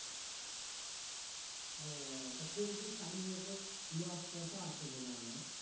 উহ তা পোল্টির frame নিয়ে তো loss টস্ট ও আছে বলে অনেক